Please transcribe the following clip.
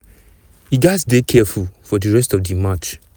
e gatz dey careful for di rest of di match.